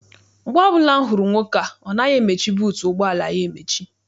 Mgbe ọbụla m hụrụ nwoke a, ọ naghị emechi buutu ụgbọala ya emechi.